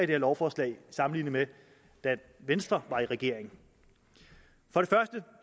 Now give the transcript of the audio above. her lovforslag sammenlignet med da venstre var i regering vi